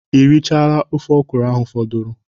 Ị rịchala ofe ọkwụrụ ahụ fọdụrụ?